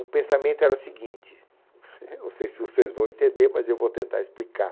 O pensamento era o seguinte, não sei se vocês vão entender, mas eu vou tentar explicar.